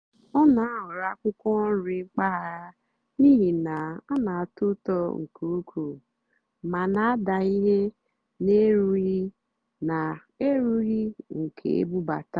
ọ́ nà-àhọ̀rọ́ ákwụ́kwọ́ nrì mpàgàrà n'ìhì ná hà nà-àtọ́ ụ́tọ́ nkè ùkwúù mà nà-àdá íhé nà-èrúghì́ nà-èrúghì́ nkè ébúbátá.